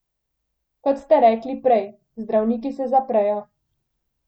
Kot ste rekli prej, zdravniki se zaprejo.